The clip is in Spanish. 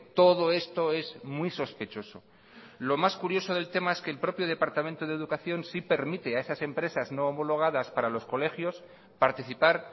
todo esto es muy sospechoso lo más curioso del tema es que el propio departamento de educación sí permite a esas empresas no homologadas para los colegios participar